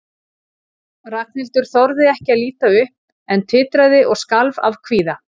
Ragnhildur þorði ekki að líta upp en titraði og skalf af kvíða.